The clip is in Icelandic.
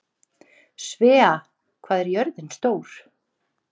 Svea, hvað er jörðin stór?